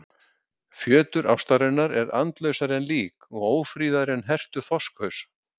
Fjötur ástarinnar er andlausari en lík og ófríðari en hertur þorskhaus.